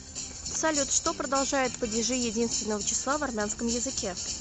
салют что продолжают падежи единственного числа в армянском языке